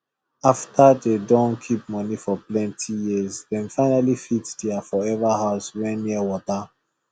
after dey don keep money for plenti years dem finally fit their forever house wey near water